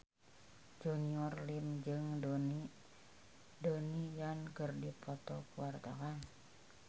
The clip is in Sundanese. Junior Liem jeung Donnie Yan keur dipoto ku wartawan